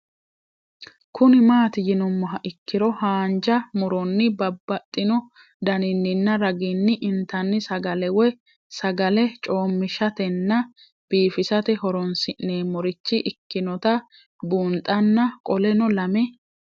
Kuni mati yinumoha ikiro hanja muroni babaxino daninina ragini intani sagale woyi sagali comishatenna bifisate horonsine'morich ikinota bunxana qoleno lame